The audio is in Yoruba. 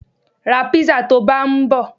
Ra písà tó bá ń bọ.